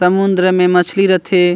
समुद्र मे मछली रथे।